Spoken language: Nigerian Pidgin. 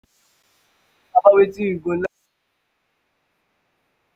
you fit um talk about wetin you go like make im go off your mind today?